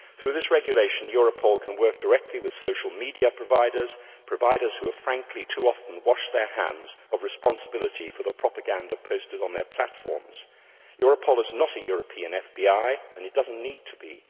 Through this regulation, Europol can work directly with social media providers providers who have frankly too often washed their hands of responsibility for the propaganda posted on their platforms. Europol is not a European FBI, and it does not need to be.